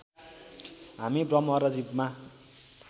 हामी ब्रह्म र जीवमा